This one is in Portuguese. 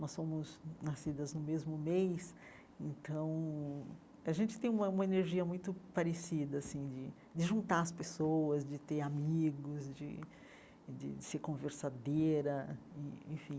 Nós somos nascidas no mesmo mês, então a gente tem uma uma energia muito parecida, assim, de de juntar as pessoas, de ter amigos, de de ser conversadeira, e enfim.